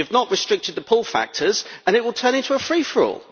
You have not restricted the pull factors and it will turn into a free for all.